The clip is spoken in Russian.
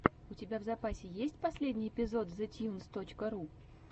у тебя в запасе есть последний эпизод зэтьюнс точка ру